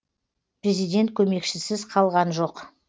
президент көмекшісіз қалған жоқ